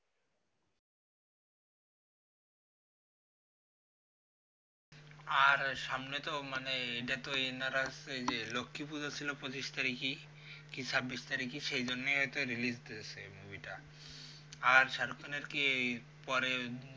আর সামনে তো মানে এটা তো লক্ষ্মী পুজো ছিল পঁচিশ তারিখে কি ছাব্বিশ তারিখে সেই জন্যই হইত release দিয়েছে movie টা আর shahrukh khan এর কি এই পরে